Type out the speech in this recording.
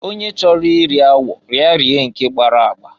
Onye chọrọ iri awọ ya rie nke gbara agba.